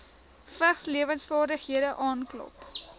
vigslewensvaardighede aanklop